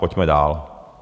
Pojďme dál.